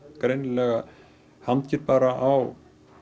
greinilega hangir bara á